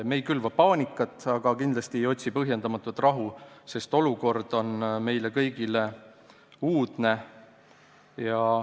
Me ei külva paanikat, aga kindlasti ei otsi ka põhjendamatut rahu, sest olukord on meile kõigile uudne.